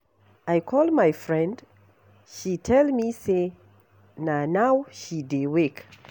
I call my friend, she tell me say na now she dey wake.